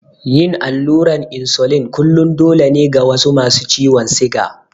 Yin allurar insulin kullum dole ne ga wasu masu ciwon siga.